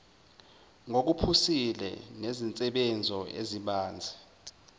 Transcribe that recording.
ngokuphusile nezinsebenzo ezibanzi